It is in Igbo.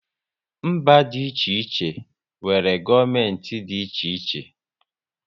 Mba dị iche iche nwere gọọmenti dị iche iche